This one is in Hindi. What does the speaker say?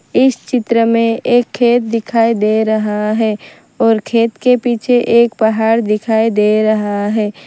इस चित्र में एक खेत दिखाई दे रहा है और खेत के पीछे एक पहाड़ दिखाई दे रहा है।